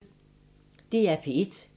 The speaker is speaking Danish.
DR P1